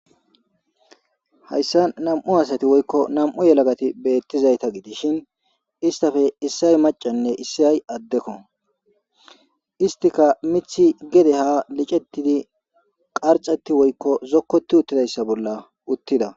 Hayssan anm7u asati woykko nam7u yelagati beetizayta gidishin istappe issay maccanne issay addekko. Isttikka miththi gede ha liccetidi qarccati woykko zokkoti utti dayssa bolla uttida.